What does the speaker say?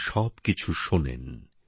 তিনি সবকিছু শোনেন